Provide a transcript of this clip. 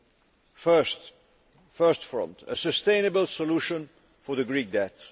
The first front a sustainable solution for the Greek debt.